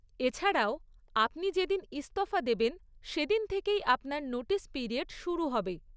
এছাড়াও, আপনি যেদিন ইস্তফা দেবেন সেদিন থেকেই আপনার নোটিশ পিরিয়ড শুরু হবে।